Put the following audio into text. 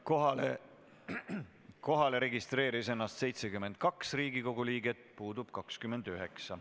Kohaloleku kontroll Kohalolijaks registreeris ennast 72 Riigikogu liiget, puudub 29.